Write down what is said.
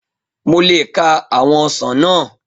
Mo le ka àwọn ọsàn náà